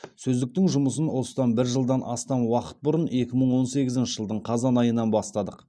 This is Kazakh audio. сөздіктің жұмысын осыдан бір жылдан астам уақыт бұрын екі мың он сегізінші жылдың қазан айынан бастадық